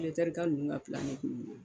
ninnu ka de